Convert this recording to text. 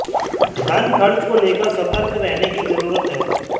धन खर्च को लेकर सतर्क रहने की जरूरत है